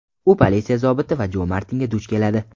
U politsiya zobiti Jo Martinga duch keladi.